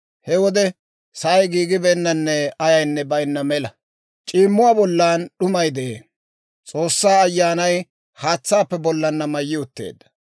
He wode sa'ay giigibeennanne ayaynne baynna mela; c'iimmuwaa bollan d'umay de'ee; S'oossaa Ayyaanay haatsaappe bollanna mayyi utteedda.